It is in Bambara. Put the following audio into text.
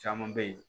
Caman bɛ yen